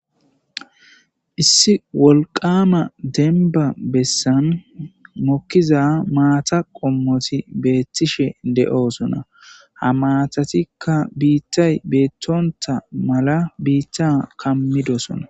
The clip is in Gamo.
issi wolqama denba bessan mokkiza maata qommoti beettishe de7oosona ha maatatikka biittay beettonta mala biitta kammidosona